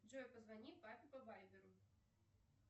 джой позвони папе по вайберу